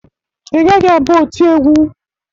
Ị gaghị abụ oti egwu!